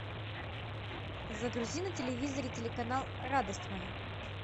загрузи на телевизоре телеканал радость моя